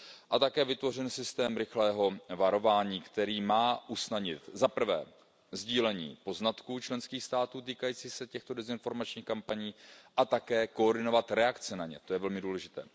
A také vytvořen systém rychlého varování, který má usnadnit zaprvé sdílení poznatků členských států týkajících se těchto dezinformačních kampaní a také koordinovat reakce na ně, to je velmi důležité.